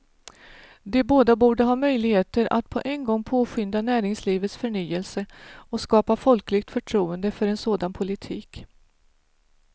De båda borde ha möjligheter att på en gång påskynda näringslivets förnyelse och skapa folkligt förtroende för en sådan politik.